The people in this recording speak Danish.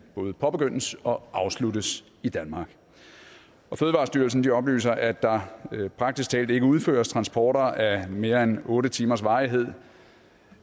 både påbegyndes og afsluttes i danmark fødevarestyrelsen oplyser at der praktisk talt ikke udføres transporter af mere end otte timers varighed